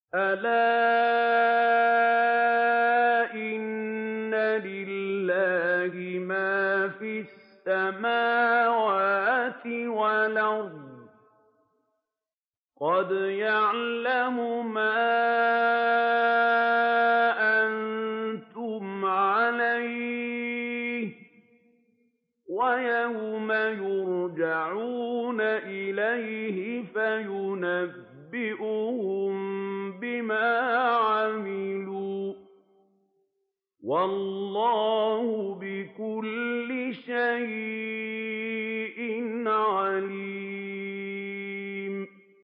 أَلَا إِنَّ لِلَّهِ مَا فِي السَّمَاوَاتِ وَالْأَرْضِ ۖ قَدْ يَعْلَمُ مَا أَنتُمْ عَلَيْهِ وَيَوْمَ يُرْجَعُونَ إِلَيْهِ فَيُنَبِّئُهُم بِمَا عَمِلُوا ۗ وَاللَّهُ بِكُلِّ شَيْءٍ عَلِيمٌ